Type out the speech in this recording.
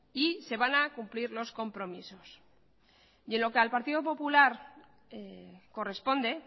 y se van a cumplir los compromisos y en lo que al partido popular corresponde